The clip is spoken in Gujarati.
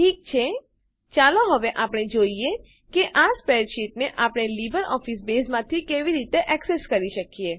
ઠીક છે ચાલો હવે આપણે જોઈએ કે આ સ્પ્રેડશીટને આપણે લીબરઓફીસ બેઝમાંથી કેવી રીતે એક્સેસ કરી શકીએ